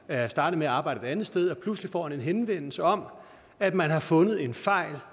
er startet med at arbejde et andet sted og pludselig får han en henvendelse om at man har fundet en fejl